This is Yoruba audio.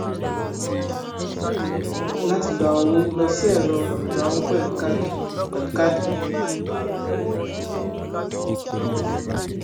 láti gba owó lọ sí ẹrọ ìgba owó pẹlú káàdì pẹlú káàdì